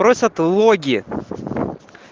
просят логин